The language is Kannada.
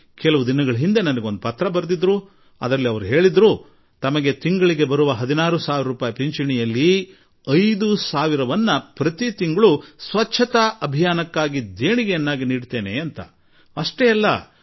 ಆದರೆ ಕೆಲವು ದಿನಗಳ ಹಿಂದೆ ಅವರು ನನಗೆ ಪತ್ರ ಬರೆದು ತಮ್ಮ 16 ಸಾವಿರ ರೂಪಾಯಿ ಪಿಂಚಣಿ ಹಣದಲ್ಲಿ ಪ್ರತಿ ತಿಂಗಳು 5 ಸಾವಿರ ರೂಪಾಯಿ ಸ್ವಚ್ಛತಾ ಕೋಶಕ್ಕೆ ತಾವು ದೇಣಿಗೆ ಕೊಡಲು ಬಯಸುವೆ ಎಂದು ತಿಳಿಸಿದರು ಮತ್ತು ಅಷ್ಟೇ ಅಲ್ಲ